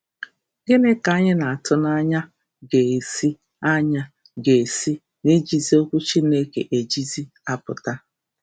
Gịnị ka anyị na-atụ anya ga-esi anya ga-esi n’ijizi Okwu Chineke ejizi apụta?